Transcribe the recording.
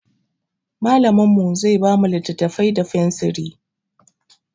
Mallamin mu zai ba mu littattafai da fensiri.